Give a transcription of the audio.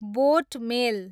बोट मेल